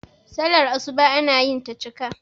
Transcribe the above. sallar asuba ana yinta cika